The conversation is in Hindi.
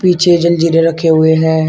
पीछे जल जीरे रखे हुए हैं।